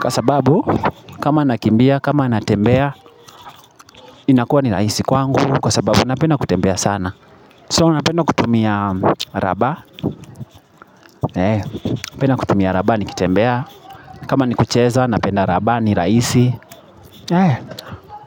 kwa sababu kama nakimbia kama natembea inakuwa ni rahisi kwangu Kwa sababu napenda kutembea sana So napenda kutumia rubber napenda kutumia rubber nikitembea kama ni kucheza napenda rubber ni rahisi.